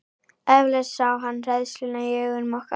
Eflaust sá hann hræðsluna í augum okkar.